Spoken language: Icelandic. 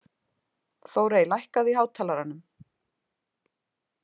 Þórey, lækkaðu í hátalaranum.